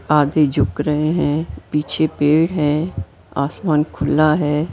आगे झुक रहे हैं पीछे पेड़ है आसमान खुला है।